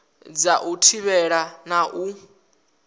dza u thivhela na u